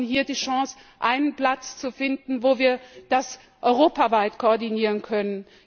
Wir hatten hier die Chance, einen Platz zu finden, von dem aus wir dies europaweit koordinieren können.